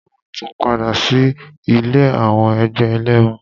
A máa tún padà sí ilé àwọn ẹgbẹ́ ẹlẹ́mu.